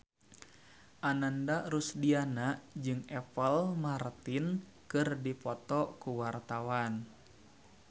Ananda Rusdiana jeung Apple Martin keur dipoto ku wartawan